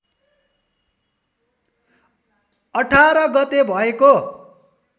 १८ गते भएको